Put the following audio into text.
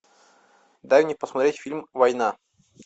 дай мне посмотреть фильм война